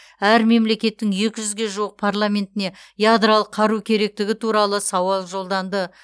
әр мемлекеттің екі жүзге жуық парламентіне ядролық қару керектігі туралы сауал жолданды